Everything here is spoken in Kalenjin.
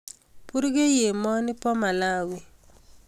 purkei emani ba malawi